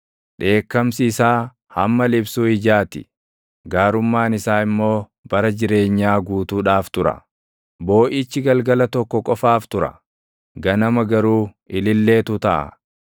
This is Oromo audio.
Dheekkamsi isaa hamma liphsuu ijaa ti; gaarummaan isaa immoo bara jireenyaa guutuudhaaf tura; booʼichi galgala tokko qofaaf tura; ganama garuu ililleetu taʼa.